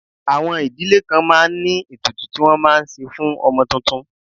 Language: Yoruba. Àwọn ìdílé kan máa ń ní ètùtù tí wọ́n máa ṣe fún ọmọ tuntun